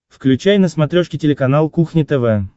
включай на смотрешке телеканал кухня тв